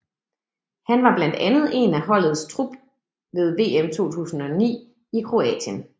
Han var blandt andet en del af holdets trup ved VM 2009 i Kroatien